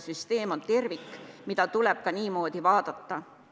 Süsteem on tervik, mida tuleb ka niimoodi vaadata.